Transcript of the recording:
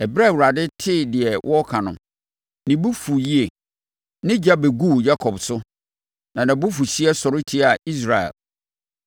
Ɛberɛ a Awurade tee deɛ wɔreka no, ne bo fuu yie; ne ogya bɛguu Yakob so, na nʼabufuhyeɛ sɔre tiaa Israel,